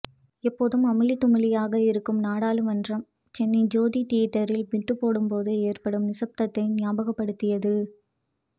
எப்போதும் அமளி துமளியாக இருக்கும் நாடளுமன்றம் சென்னை ஜோதி தீயேட்டரில் பிட்டு போடும் போது ஏற்படும் நிசப்தத்தை ஞாபகப்படுத்தியது